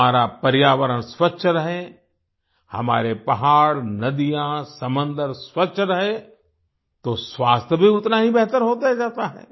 हमारा पर्यावरण स्वच्छ रहे हमारे पहाड़नदियाँ समंदर स्वच्छ रहें तो स्वास्थ्य भी उतना ही बेहतर होता जाता है